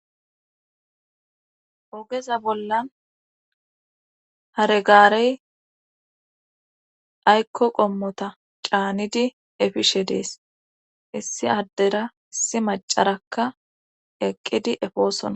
Ogeza bollan hare gaarey aykko qommota caanidi efishe dees issi addera issi macarakka eqqidi efoosona